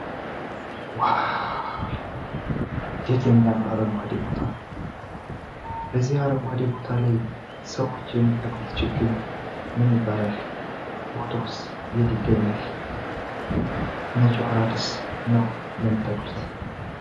እንዴት የሚያምር አረጓዴ ቦታ ነው። በዚህ አረንጓዴ ቦታ ላይ ሰዎች የሚተክሉት ችግኝ ምን ይባላል? ቦታውስ የት ይገኛል? መቼ ወራትስ ነው የሚተክሉት?